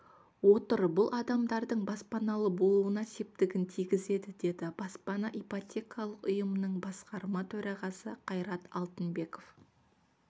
отыр бұл адамдардың баспаналы болуына септігін тигізеді деді баспана ипотекалық ұйымының басқарма төрағасы қайрат алтынбеков